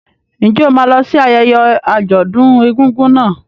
Ǹjẹ́ o máa lọ sí ayẹyẹ àjọ̀dún egúngún náà?